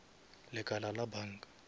lekala la banka